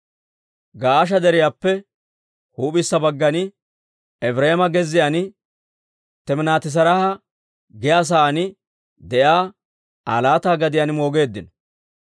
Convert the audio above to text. Ga'aasha Deriyaappe huup'issa baggan, Efireema gezziyaan, Timinaati-Seraaha giyaa saan de'iyaa Aa laata gadiyaan moogeeddino.